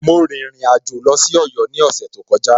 Mo rìnrìn àjò lọ sí Ọ̀yọ́ ní ọ̀sẹ̀ tó kọjá.